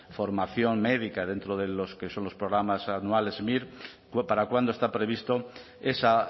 formación médica dentro de los que son los programas anuales mir para cuándo está previsto esa